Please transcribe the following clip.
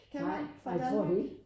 Nej jeg tror det ikke